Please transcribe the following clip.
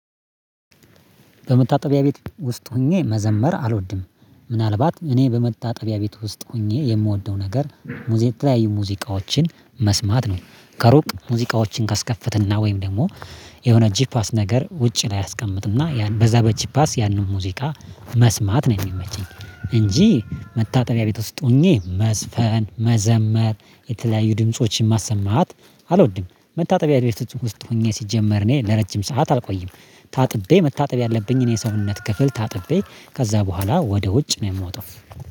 በመታጠቢያ ቤት ውስጥ ሆኜ መዘመር አልወድም። ምናልባት እኔ በመታጠቢያ ቤት ውስጥ ሆኜ የምወደው ነገር። የተለያዩ ሙዚቃዎችን መስማት ነው ከሩቅ ሙዚቃዎችን ካስከፈትንና ወይም ደግሞ የሆነ ጂፓስ ነገር ውጪ ላይ አስቀምጥና ያን በዛ በጂፓስ ያንን ሙዚቃ መስማት ነው የሚመቸኝ። እንጂ መታጠቢያ ቤት ውስጥ ሆኜ መዝፈን መዘመር የተለያዩ ድምፆችን ማሰማት አልወድም። መታጠቢያ ድምፁን ውስጥ ሆኜ ሲጀመር እኔ ለረጅም ሰዓት አልቆይም ታጥቤ መታጠቢ ያለብኝን የሰውነት ክፍል ታጥቤ ከዛ በኋላ ወደ ውጭ ነው የምወጣው